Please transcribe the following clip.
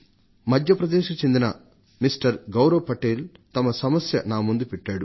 మధ్య ప్రదేశ్కు చెందిన గౌరవ్ పటేల్ అనే ఆయన తన సమస్యను నా ముందు ఉంచారు